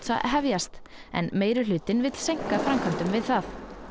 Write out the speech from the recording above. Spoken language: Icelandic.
að hefjast en meirihlutinn vill seinka framkvæmdum við það